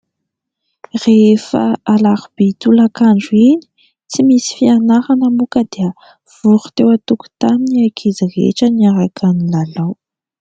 Rehefa alarobia tolakandro iny tsy misy fianarana moa ka dia vory teo antokotany ny ankizy rehetra niaraka nilalao.